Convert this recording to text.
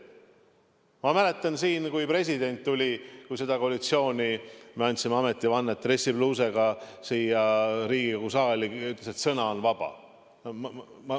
Ma mäletan, kui president tuli – kui me selle koalitsiooniga andsime ametivannet – dressipluusiga Riigikogu saali ja ütles, et sõna on vaba.